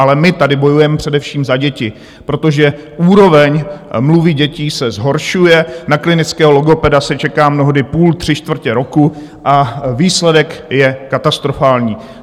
Ale my tady bojujeme především za děti, protože úroveň mluvy dětí se zhoršuje, na klinického logopeda se čeká mnohdy půl, tři čtvrtě roku a výsledek je katastrofální.